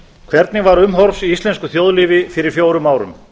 hvernig var umhorfs í íslensku þjóðlífi fyrir fjórum árum